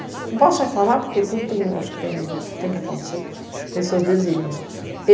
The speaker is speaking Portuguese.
Não posso reclamar, porque tudo tem, acho que tem que acontecer, tem seus desígnios.